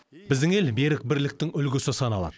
біздің ел берік бірліктің үлгісі саналады